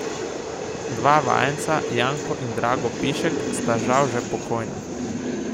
Dva vajenca, Janko in Drago Pišek, sta žal že pokojna.